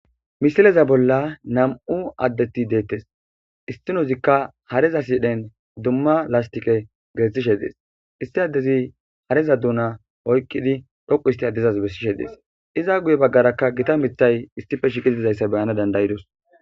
Misileza bola namu adet detees issinozikka hareza sidhdhen duma lasitiqera gelithishe detesi issi adezi hareza duna dhoqu hisit beesishe dees iza guyerakka gita miththay issippe shiqiddi dizayisa beyanas danidaidos